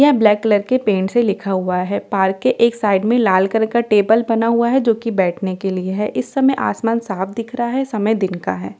यहां black colour के paint से लिखा हुआ है पार्क के एक साइड में लाल कलर का टेबल बना हुआ है जो कि बैठने के लिए है इस समय आसमान साफ दिख रहा है समय दिन का है।